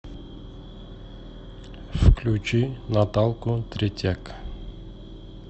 включи наталку третяк